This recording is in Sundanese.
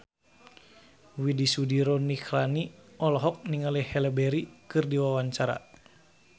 Widy Soediro Nichlany olohok ningali Halle Berry keur diwawancara